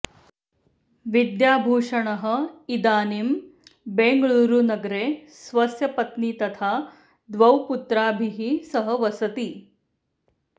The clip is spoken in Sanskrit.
विद्याभूषणः इदानीम् बेङ्गळूरुनगरे स्वस्य पत्नी तथा द्वौ पुत्राभिः सह वसति